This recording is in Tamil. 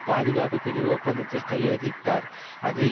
பாதுகாப்பு பிரிவு ஒப்பந்தத்தில் கையெழுத்திட்டார் அது